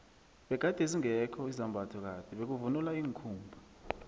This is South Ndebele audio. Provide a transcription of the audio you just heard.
begade zingekho izambatho kade bekuvunulwa iinkhumba